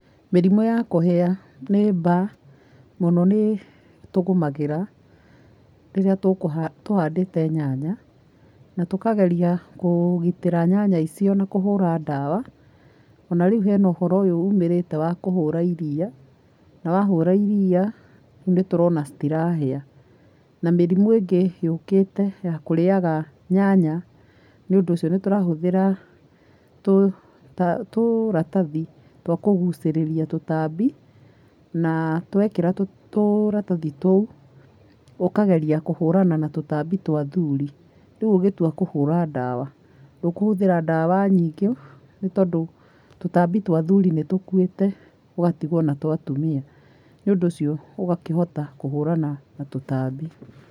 Mĩrimũ ya kũhĩa nĩ mbaa mũno nĩtũgũmagĩra rĩrĩa tũkũ tũhandĩte nyanya na tũkageria kũgitĩra nyanya icio na kũhũra dawa, ona rĩu hena ũhoro ũyũ umĩrĩte wa kũhũra iria na wahũra iria nitũrona citirahĩa na mĩrimũ ĩngĩ yũkĩte ya kũrĩaga nyanya nĩũndũ ũcio nĩtũrahũthĩra tũtha tũratathi twa gũitĩrĩria tũtambi na twekĩra tũũ tũratathi tũu ũkageria kũhũrana na tũtambi twa athuri rĩu ũgĩtua kũhũra dawa ndũkũhũthĩra dawa nyingĩ nĩtondũ tũtambi twa athuri nĩtũkwĩte ũgatigwo na twa atumia nĩũndũ ũcio ũgakĩhota kũhũrana na tũtambi.